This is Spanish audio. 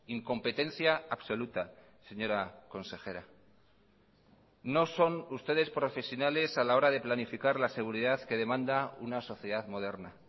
incompetencia absoluta señora consejera no son ustedes profesionales a la hora de planificar la seguridad que demanda una sociedad moderna